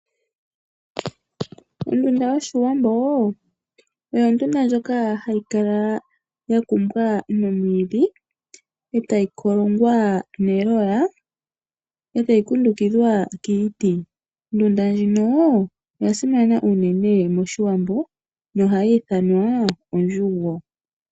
Ondunda yoshiwambo oyo ondunda ndjoka hayi kala ya kumbwa nomwiidhi, e tayi kolongwa neloya, e tayi kundukidhwa kiiti. Ondunda ndjino oya simana unene moshiwambo nohayi ithanwa ondjugo.